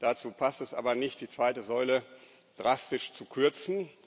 Dazu passt es aber nicht, die zweite Säule drastisch zu kürzen.